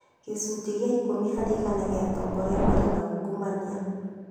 Gĩcunjĩ gĩa ikũmi harĩ igana gia atongoria nĩ marĩ uungumania